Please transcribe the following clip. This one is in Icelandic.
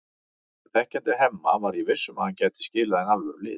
En þekkjandi Hemma var ég viss um að hann gæti skilað inn alvöru liði.